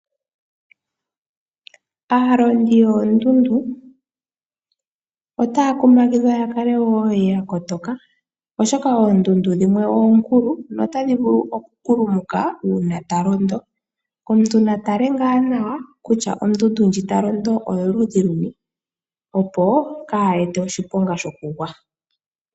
Aalondi yoondundu otaya kumagidhwa ya kale wo ya kotoka, oshoka oondundu dhimwe oonkulu notadhi vulu okukulumuka uuna ta londo. Omuntu natale ngaa nawa kutya ondundu ta londo oyoludhi luni, opo kayi ete oshiponga shokugwa.